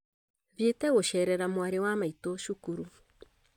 Thiete gũceerera mwarĩ wa maitũ cukuru